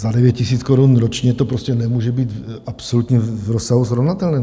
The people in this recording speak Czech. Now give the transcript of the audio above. Za 9 000 korun ročně to prostě nemůže být absolutně v rozsahu srovnatelném.